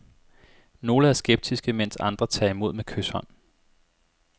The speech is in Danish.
Nogle er skeptiske, mens andre tager imod med kyshånd.